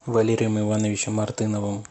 валерием ивановичем мартыновым